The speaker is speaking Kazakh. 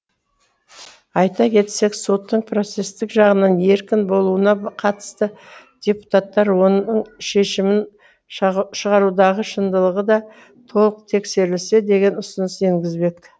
айта кетсек соттың процестік жағынан еркін болуына қатысты депутаттар оның шешімін шығарудағы шындылығы да толық тексерілсе деген ұсыныс енгізбек